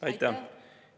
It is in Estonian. Aitäh!